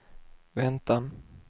väntan